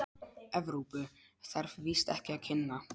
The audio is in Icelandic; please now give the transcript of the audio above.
Evrópu, þarf víst ekki að kynna.